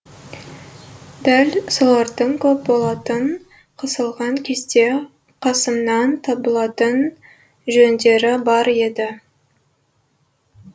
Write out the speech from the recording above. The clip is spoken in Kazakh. дәл солардың көп болатын қысылған кезде қасымнан табылатын жөндері бар еді